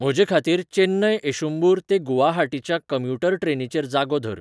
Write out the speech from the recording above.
म्हजेखातीर चेन्नई एषुंबूर ते गुवाहाटीच्या कम्युटर ट्रेनीचेर जागो धर